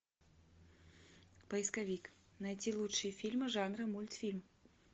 поисковик найти лучшие фильмы жанра мультфильм